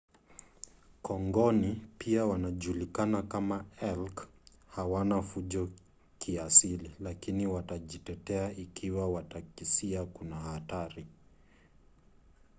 kongoni pia wanajulikana kama elk hawana fujo kiasili lakini watajitetea ikiwa watakisia kuna hatari